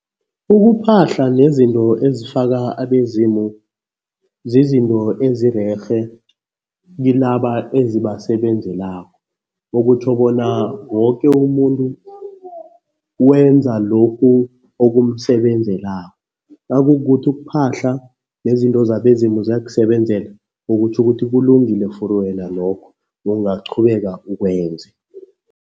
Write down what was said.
Ukuphahla nezinto ezifaka abezimu zizinto ezirerhe kilaba ezibasebenzelako. Okutjho bona woke umuntu wenza lokhu okumsebenzelako. Nakukukuthi ukuphahla nezinto zabezimu ziyakusebenzela, okutjho ukuthi kulungile for wena lokho, ungaqhubeka ukwenze.